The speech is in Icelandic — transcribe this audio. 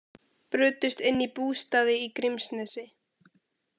Brutust inn í bústaði í Grímsnesi